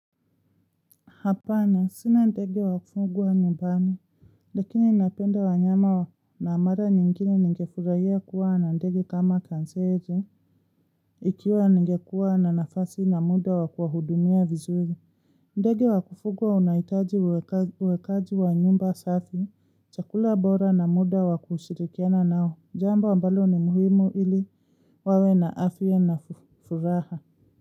Hapana, sina ndege wa kufugwa nyumbani, lakini ninapenda wanyama na mara nyingine nigefurahia kuwa na ndegi kama kanzere ikiwa ningekuwa na nafasi na muda wa kuwahudumia vizuri. Ndege wa kufugwa wanahitaji uwekaji wa nyumba safi, chakula bora na muda wakushirikiana nao, jambo mbalo ni muhimu ili wawe na afya na furaha.